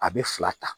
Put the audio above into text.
A bɛ fila ta